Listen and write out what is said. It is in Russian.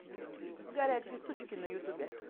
горячие сучки на ютубе